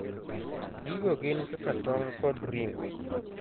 Gigo gin kaka tong' kod ring'o.